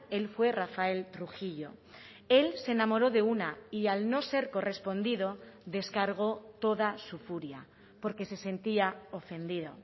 él fue rafael trujillo él se enamoró de una y al no ser correspondido descargo toda su furia porque se sentía ofendido